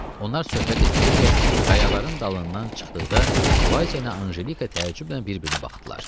Onlar söhbət eləyə-eləyə qayaların dalından çıxdıqda Valsiya ilə Anjelika təəccüblə bir-birinə baxdılar.